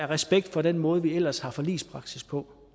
respekt for den måde vi ellers har forligspraksis på